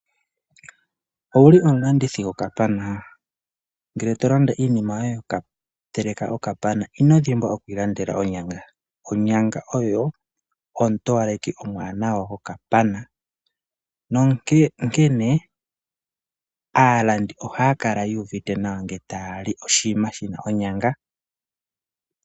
Owuli omulandithi gokapana? Ngele to landa iinima yoye yoku teleka okapana inodhimbwa okwiilandela onyanga. Onyanga oyo ontowaleki yokapana nonkene aalandi ohaakala yuuvite nawa nge taali oshiima shina onyanga.